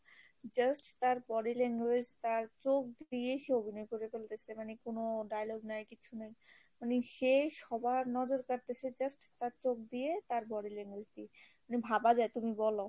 just তার body language তার চোখ দিয়েই সে অভিনয় করে ফেলতেছে মানে কোনো dialogue নাই কিছু নাই, মানে সে সবার নজর কারতেছে just তার চোখ দিয়ে, তার body language দিয়ে মানে ভাবা যায় তুমি বলো?